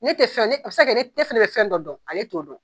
Ne tɛ ne fɛnɛ bɛ fɛn dɔ dɔn ale t'o don